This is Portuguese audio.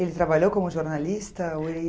Ele trabalhou como jornalista?